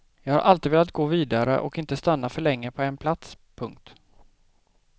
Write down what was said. Jag har alltid velat gå vidare och inte stanna för länge på en plats. punkt